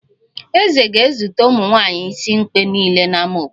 Eze ga-ezute ụmụnwaanyi isimkpe niile n'ámá obodo